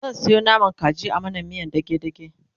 zan Sayo naman kaji a mana miyan dage dage